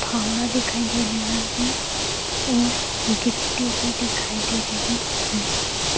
फावड़ा दिखाई दे रहा है और गिट्टी भी दिखाई दे रही है।